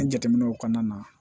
An jateminɛw kɔnɔna na